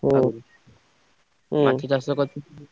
ହୁଁ ଉଁ ।